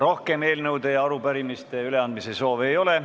Rohkem eelnõude ja arupärimiste üleandmise soove ei ole.